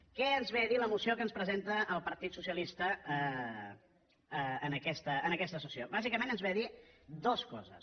què ens ve a dir la moció que ens presenta el partit socialista en aquesta sessió bàsicament ens ve a dir dues coses